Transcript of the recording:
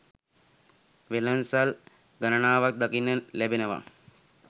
වෙළඳ සල් ගණනාවක් දකින්න ලැබෙනව.